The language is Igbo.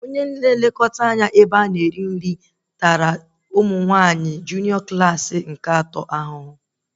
Prịfeti refektọrị tara ụmụ nwaanyị klaasị atọ nke junịọ ahụhụ